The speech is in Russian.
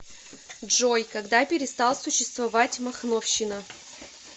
джой когда перестал существовать махновщина